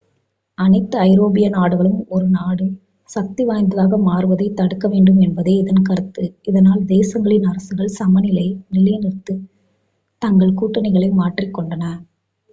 அனைத்து ஐரோப்பிய நாடுகளும் ஒரு நாடு சக்திவாய்ந்ததாக மாறுவதைத் தடுக்கவேண்டும் என்பதே இதன் கருத்து இதனால் தேசங்களின் அரசுகள் சமநிலையை நிலைநிறுத்துவதற்காக தங்கள் கூட்டணிகளை மாற்றிக்கொண்டன